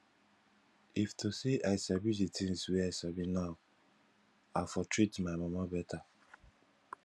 if to say i sabi the things wey i sabi now i for treat my mama better